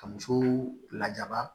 Ka musow lajaba